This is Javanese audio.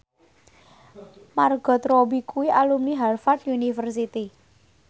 Margot Robbie kuwi alumni Harvard university